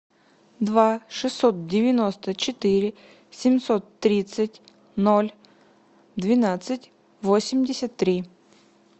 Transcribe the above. два шестьсот девяносто четыре семьсот тридцать ноль двенадцать восемьдесят три